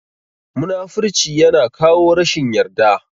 Munafurci ya na kawo rashin yarda